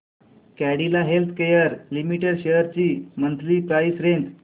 Cadila healthcare limited shares ची monthly price range